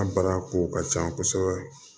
An bara ko ka ca kosɛbɛ